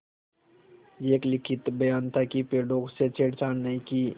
यह एक लिखित बयान था कि पेड़ों से छेड़छाड़ नहीं की